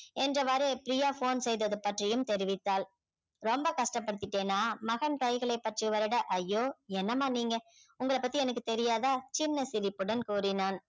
என்றவாறு பிரியா phone செய்தது பற்றியும் தெரிவித்தாள் ரொம்ப கஷ்டப்படுத்திட்டேனா மகன் கைகளைப் பற்றி வருட ஐய்யோ என்னமா நீங்க உங்களப் பத்தி எனக்கு தெரியாதா சின்ன சிரிப்புடன் கூறினான்